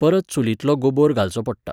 परत चुलींतलो गोबोर घालचो पडटा.